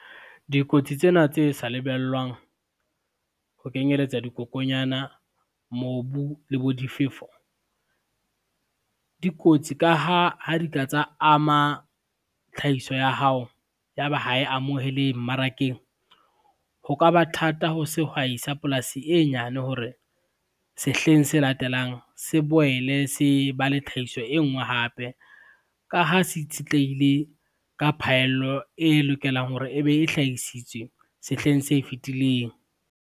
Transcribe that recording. Dikotsi tsena tse sa lebellwang, ho kenyeletsa dikokonyana, mobu le bo difefo, di kotsi ka ha ha di ka tsa ama tlhahiso ya hao, ya ba ha e amohelehe mmarakeng. Ho ka ba thata ho sehwai sa polasi e nyane hore, sehleng se latelang se boele se ba le tlhahiso e ngwe hape, ka ha se itshetlehile ka phaello e lokelang hore ebe e hlahisitswe sehleng se fitileng.